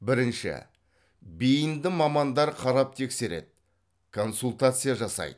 бірінші бейінді мамандар қарап тексереді консультация жасайды